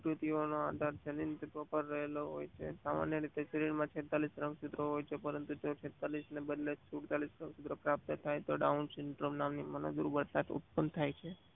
સ્ટુત્યુઓ નું આધાર જનૈનતત્વો પર રહેલો હોય છે. સામાન્ય રીતે જનીન માં છેંતાલીસ રંગસૂત્ર હોય પરંતુ તે છેંતાલીસ ને બદલે સુલતાલીસ રંગસૂત્ર પ્રાપ્ત થાય તો ડાઉંઉંસીમાત નામના મનોગ્રહ નામનો ઉત્પાન થાય છે.